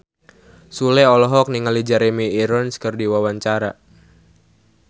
Sule olohok ningali Jeremy Irons keur diwawancara